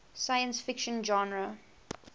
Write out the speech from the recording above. science fiction genre